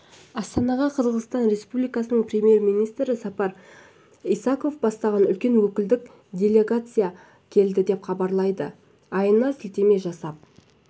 астанаға қырғызстан республикасының премьер-министрі сапар исаков бастаған үлкен өкілдік делегация келді деп хабарлайды іайтына сілтеме жасап